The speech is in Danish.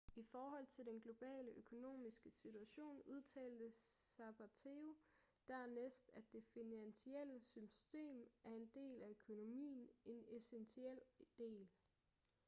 i forhold til den globale økonomiske situation udtalte zapatero dernæst at det finansielle system er en del af økonomien en essentiel del